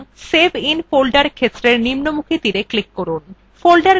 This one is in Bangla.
সুতরাং save in folder ক্ষেত্রের নিম্নমুখী তীরএ click করুন